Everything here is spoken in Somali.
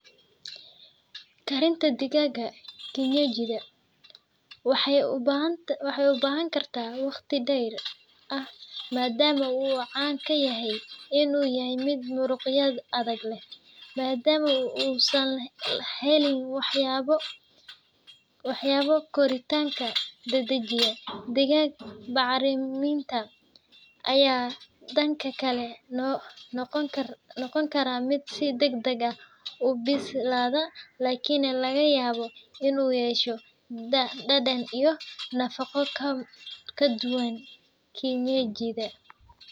Karinta digaagga kienyeji-da waxay u baahan tahay waqti dheer, maadaama uusan caan ku ahayn mid muruqyadiisu jilicsan yihiin, maadaama uusan helin wax koritaanka dedejiya. Digaagga bacriminta ayaa noqon kara mid si degdeg ah u bislaada, laakiinse waxaa laga yaabaa inuu yeesho dhadhan iyo nafaqo ka duwan kienyeji-da.